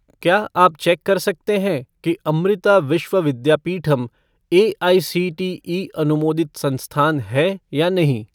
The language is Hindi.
क्या आप चेक कर सकते हैं कि अमृता विश्व विद्यापीठम एआईसीटीई अनुमोदित संस्थान है या नहीं?